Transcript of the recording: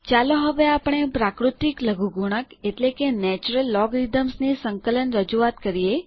ચાલો હવે આપણે પ્રાકૃતિક લઘુગુણક ની સંકલન રજૂઆત લખીએ